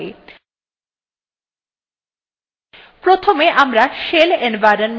প্রথমে আমরা shell environment variable নিয়ে আলোচনা করবো